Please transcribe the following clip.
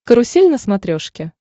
карусель на смотрешке